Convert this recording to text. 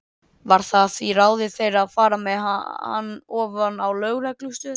Varð það því að ráði þeirra að fara með hann ofan á lögreglustöð.